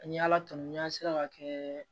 Ni ala tɔn n'a sera ka kɛ